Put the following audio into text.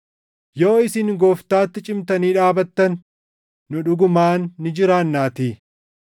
Yoo isin Gooftaatti cimtanii dhaabatan nu dhugumaan ni jiraannaatii.